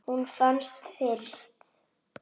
Hún fannst fyrst.